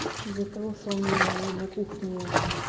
из-за того что у меня на кухне